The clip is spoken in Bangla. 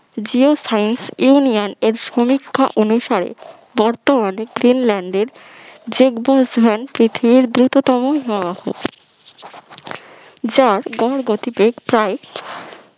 geo science union এর সমীক্ষা অনুসারে বর্তমানে গ্রিনল্যান্ডের জেকভল হ্যান্ডস পৃথিবীর দ্রুততম হিমবাহ যার গড় গতিবেগ প্রায়,